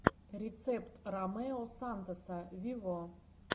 рецепт ромео сантоса вево